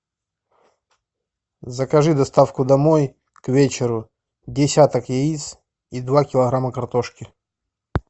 закажи доставку домой к вечеру десяток яиц и два килограмма картошки